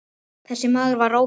Þessi maður var Róbert.